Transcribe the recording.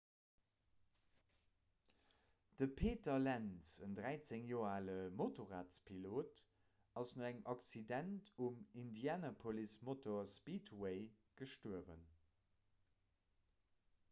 de peter lenz en 13 joer ale motorradpilot ass no engem accident um indianapolis motor speedway gestuerwen